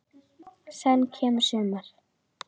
Senn kemur sumar.